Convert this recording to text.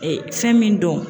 fɛn min don.